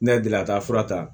Ne ye delila ka taa fura ta